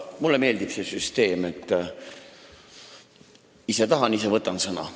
Mulle meeldib see süsteem, et ise tahan, ise võtan sõna.